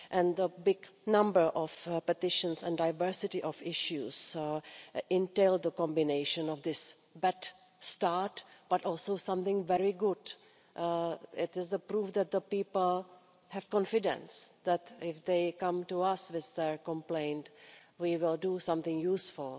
A large number of petitions and a diversity of issues entail a combination of this bad start but also something very good it is the proof that the people have confidence that if they come to us with their complaint we will do something useful.